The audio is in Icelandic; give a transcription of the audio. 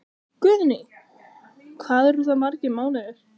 Guðný: Hvað eru það margir mánuðir?